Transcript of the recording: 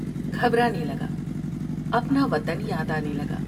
گھبرانے لگا ، اپنا وطن یاد آنے لگا ۔